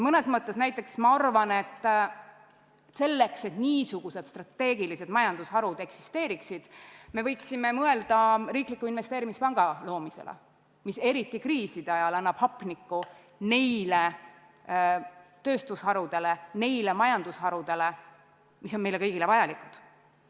Ma arvan, et kui me tahame, et niisugused strateegilised majandusharud eksisteeriksid, me võiksime mõelda riikliku investeerimispanga loomisele, mis eriti kriiside ajal annab hapnikku tööstusharudele ja muudele majandusharudele, mis on meile kõigile vajalikud.